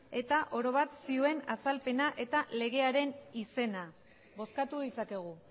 eta oro bat zioen azalpena eta legearen izena bozkatu ditzakegu